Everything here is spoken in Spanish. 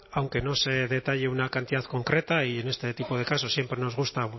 aunque no se detalle una cantidad concreta y en este tipo de casos siempre nos gusta